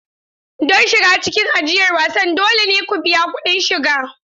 Don shiga cikin ajiyar wasan, dole ne ku biya kuɗin shiga.